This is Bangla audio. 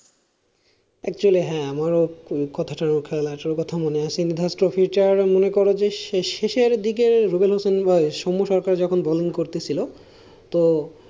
actually হ্যাঁ আমারও কথাটা খেলাটার কথাটা মনে আছে নিধাস trophy টার শেষের দিকে রুবেল হাসান বা সৌমো সরকার যখন bowling করতে ছিল তো,